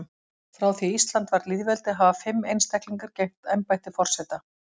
Frá því að Ísland varð lýðveldi hafa fimm einstaklingar gegnt embætti forseta.